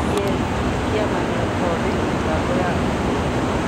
KEC Kĩama gĩa Gũthondeka Mĩbango ya Arutwo